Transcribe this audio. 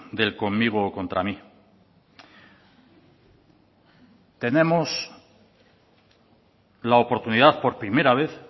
del conmigo o contra mí tenemos la oportunidad por primera vez